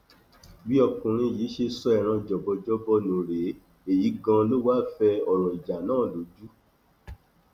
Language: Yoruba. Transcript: bí ọkùnrin yìí ṣe so ẹran jọbọjọbọ nù rèé èyí ganan ló wáá fẹ ọrọ ìjà náà lójú